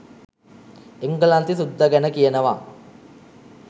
එංගලන්තේ සුද්ද ගැන කියනව